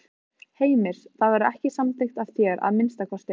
Heimir: Það verður ekki samþykkt af þér, að minnsta kosti?